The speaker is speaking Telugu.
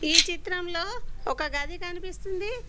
ఈ చిత్రంలో ఒక గది కనిపిస్తుంది.